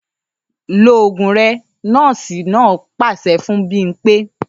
‘Lo ògùn re̩!’ nó̩ò̩sì náà pàs̩e fún Bímpé